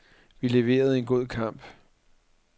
Vi leverede en god kamp.